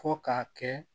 Fo k'a kɛ